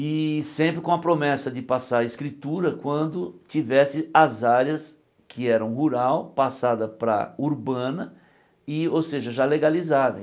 E sempre com a promessa de passar a escritura quando tivesse as áreas que eram rural passada para urbana, e ou seja, já legalizada.